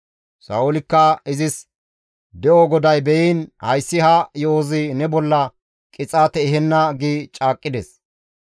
Sa7oolikka izis, «De7o GODAY be7iin hayssi ha yo7ozi ne bolla qixaate ehenna» gi caaqqides.